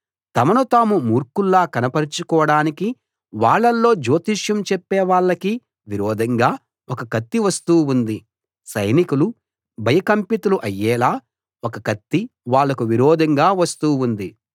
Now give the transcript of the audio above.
తమను తాము మూర్ఖుల్లా కనపరచుకోడానికి వాళ్ళలో జ్యోతిష్యం చెప్పే వాళ్ళకి విరోధంగా ఒక కత్తి వస్తూ ఉంది సైనికులు భయకంపితులు అయ్యేలా ఒక కత్తి వాళ్ళకు విరోధంగా వస్తూ ఉంది